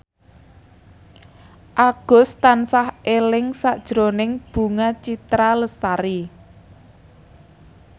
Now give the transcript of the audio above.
Agus tansah eling sakjroning Bunga Citra Lestari